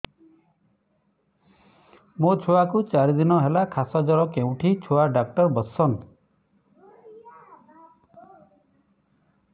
ମୋ ଛୁଆ କୁ ଚାରି ଦିନ ହେଲା ଖାସ ଜର କେଉଁଠି ଛୁଆ ଡାକ୍ତର ଵସ୍ଛନ୍